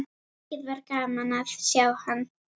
Mikið var gaman að sjá hann.